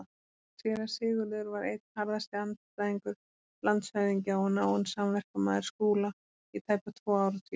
Séra Sigurður var einn harðasti andstæðingur landshöfðingja og náinn samverkamaður Skúla í tæpa tvo áratugi.